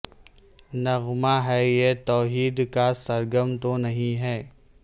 نغمہ ہے یہ توحید کا سرگم تو نہیں ہے